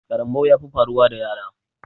Karambau ya fi faruwa da yara